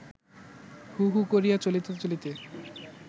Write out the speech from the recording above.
হু হু করিয়া চলিতে চলিতে